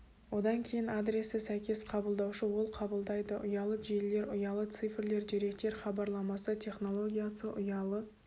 одан кейін адресі сәйкес қабылдаушы ол қабылдайды ұялы желілер ұялы цифрлік деректер хабарламасы технологиясы ұялы